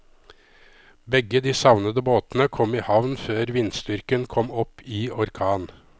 Begge de savnede båtene kom i havn før vindstyrken kom opp i orkan.